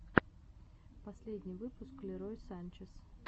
последний выпуск лерой санчес